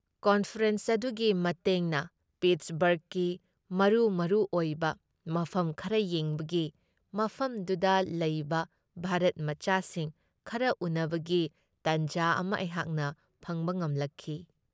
Conference ꯑꯗꯨꯒꯤ ꯃꯇꯦꯡꯅ ꯄꯤꯠꯁꯕꯔꯒꯀꯤ ꯃꯔꯨ ꯃꯔꯨ ꯑꯣꯏꯕ ꯃꯐꯝ ꯈꯔ ꯌꯦꯡꯕꯒꯤ, ꯃꯐꯝꯗꯨꯗ ꯂꯩꯕ ꯚꯥꯔꯠꯃꯆꯥꯁꯤꯡ ꯈꯔ ꯎꯟꯅꯕꯒꯤ ꯇꯥꯟꯖꯥ ꯑꯃ ꯑꯩꯍꯥꯛꯅ ꯐꯪꯕ ꯉꯝꯂꯛꯈꯤ ꯫